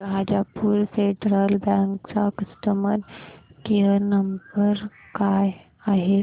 Rajapur Federal bank चा customer care number काय आहे